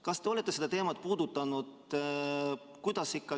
Kas te olete seda teemat puudutanud?